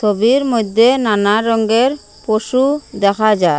ছবির মধ্যে নানা রঙ্গের পশু দেখা যার।